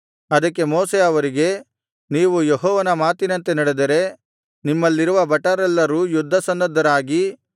ಅದಕ್ಕೆ ಮೋಶೆ ಅವರಿಗೆ ನೀವು ಯೆಹೋವನ ಮಾತಿನಂತೆ ನಡೆದರೆ ನಿಮ್ಮಲ್ಲಿರುವ ಭಟರೆಲ್ಲರೂ ಯುದ್ಧಸನ್ನದ್ಧರಾಗಿ